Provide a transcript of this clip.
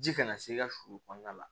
Ji kana se i ka sulu kɔnɔna la